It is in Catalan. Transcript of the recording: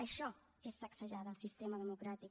això és sacsejada al sistema democràtic